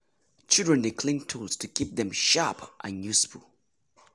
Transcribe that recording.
children dey clean tools to keep dem sharp and useful.